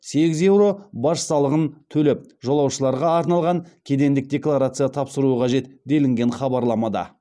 сегіз еуро баж салығын төлеп жолаушыларға арналған кедендік декларация тапсыруы қажет делінген хабарламада